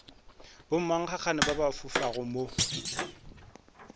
bommankgagane ba ba fofago mo